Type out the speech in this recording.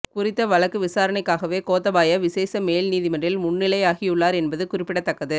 குறித்த வழக்கு விசாரணைக்காகவே கோத்தபாய விசேட மேல் நீதிமன்றில் முன்னிலையாகியுள்ளார் என்பது குறிப்பிடத்தக்கது